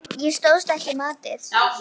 Ég stóðst ekki mátið